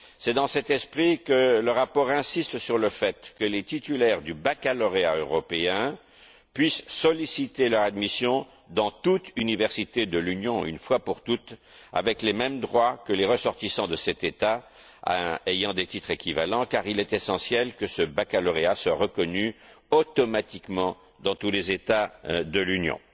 C'est dans cet esprit que le rapport insiste sur le fait que les titulaires du baccalauréat européen puissent solliciter leur admission dans toute université de l'Union une fois pour toutes, avec les mêmes droits que les ressortissants de cet État ayant des titres équivalents, car il est essentiel que ce baccalauréat soit reconnu automatiquement dans tous les États membres de l'Union.